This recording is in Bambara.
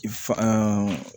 Fa